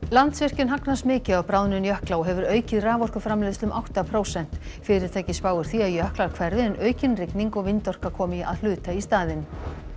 Landsvirkjun hagnast mikið á bráðnun jökla og hefur aukið raforkuframleiðsla um átta prósent fyrirtækið spáir því að jöklar hverfi en aukin rigning og vindorka komi að hluta í staðinn